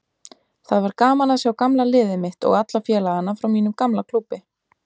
Það var gaman að sjá gamla liðið mitt og alla félagana frá mínum gamla klúbbi.